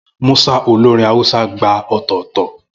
Musa, olórin Hausa, gba ọ̀tọ̀ọ̀tọ̀.